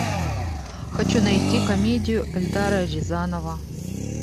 хочу найти комедию эльдара рязанова